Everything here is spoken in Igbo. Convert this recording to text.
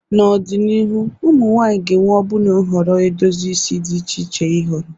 N'ọdịnihu, ụmụ nwanyị ga-enwe ọbụna nhọrọ edozi isi di iche iche ịhọrọ.